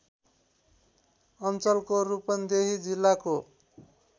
अञ्चलको रूपन्देही जिल्लाको